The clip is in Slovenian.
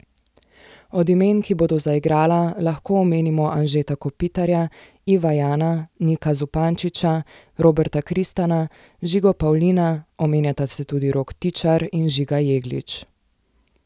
Od imen, ki bodo zaigrala, lahko omenimo Anžeta Kopitarja, Iva Jana, Nika Zupančiča, Roberta Kristana, Žigo Pavlina, omenjata se tudi Rok Tičar in Žiga Jeglič.